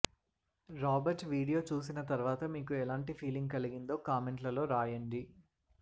Robert video చూసిన తర్వాత మీకు ఎలాంటి ఫీలింగ్ కలిగిందో కామెంట్లలో రాయండి